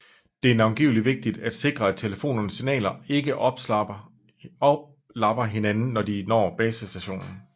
Det er navnlig vigtigt at sikre at telefonernes signaler ikke oplapper hinanden når de når basestationen